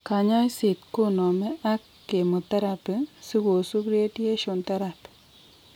Kanyaiset koname ag chemotherapy sigosub radiationtherapy